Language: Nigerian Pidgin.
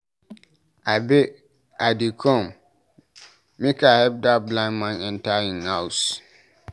Abeg I dey come, make I help dat blind man enter im house.